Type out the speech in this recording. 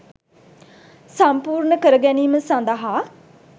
සම්පූර්ණ කර ගැනීම සඳහා